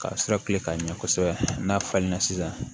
Ka sira tilen ka ɲɛ kosɛbɛ n'a falenna sisan